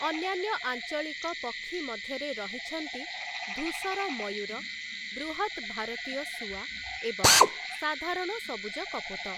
ଅନ୍ୟାନ୍ୟ ଆଞ୍ଚଳିକ ପକ୍ଷୀ ମଧ୍ୟରେ ରହିଛନ୍ତି ଧୂସର ମୟୂର, ବୃହତ୍‌ ଭାରତୀୟ ଶୁଆ ଏବଂ ସାଧାରଣ ସବୁଜ କପୋତ ।